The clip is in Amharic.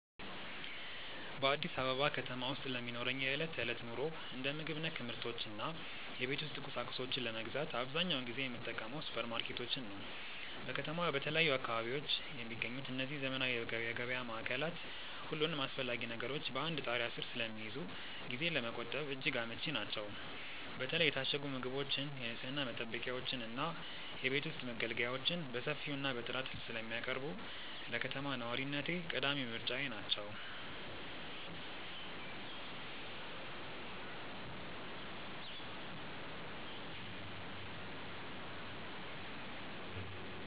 በአዲስ አበባ ከተማ ውስጥ ለሚኖረኝ የዕለት ተዕለት ኑሮ፣ እንደ ምግብ ነክ ምርቶች እና የቤት ውስጥ ቁሳቁሶችን ለመግዛት አብዛኛውን ጊዜ የምጠቀመው ሱፐርማርኬቶችን ነው። በከተማዋ በተለያዩ አካባቢዎች የሚገኙት እነዚህ ዘመናዊ የገበያ ማዕከላት፣ ሁሉንም አስፈላጊ ነገሮች በአንድ ጣሪያ ስር ስለሚይዙ ጊዜን ለመቆጠብ እጅግ አመቺ ናቸው። በተለይ የታሸጉ ምግቦችን፣ የንፅህና መጠበቂያዎችን እና የቤት ውስጥ መገልገያዎችን በሰፊው እና በጥራት ስለሚያቀርቡ፣ ለከተማ ነዋሪነቴ ቀዳሚ ምርጫዬ ናቸው።